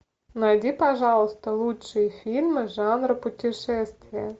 найди пожалуйста лучшие фильмы жанра путешествие